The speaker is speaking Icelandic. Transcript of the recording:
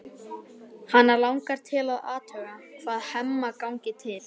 Hana langar til að athuga hvað Hemma gangi til.